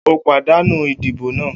O pàdánù idibo náà!